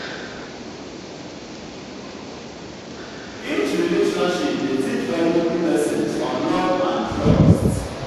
each relationship dey teach valuable lessons on love and trust.